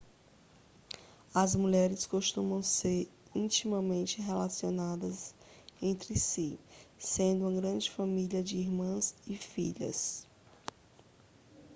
as mulheres costumam ser intimamente relacionadas entre si sendo uma grande família de irmãs e filhas